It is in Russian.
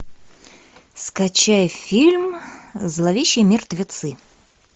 скачай фильм зловещие мертвецы